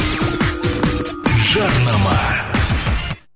жарнама